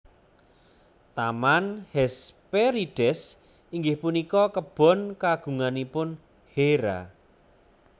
Taman Hesperides inggih punika kebon kagunganipun Hera